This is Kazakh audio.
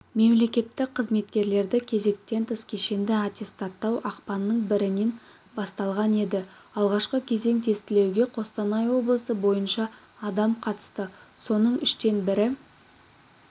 мемлекеттік қызметкерлерді кезектен тыс кешенді аттестаттау ақпанның бірінен басталған еді алғашқы кезең тестілеуге қостанай облысы бойынша адам қатысты соның үштен бірі